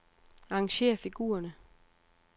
Arrangér figurerne.